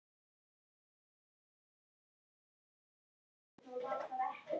Ég kem með þér sagði Örn.